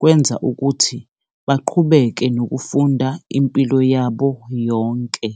kwenza ukuthi baqhubeke nokufunda impilo yabo yonke.